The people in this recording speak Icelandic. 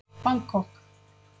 Bangkok